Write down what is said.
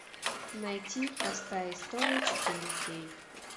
найти простая история четыре кей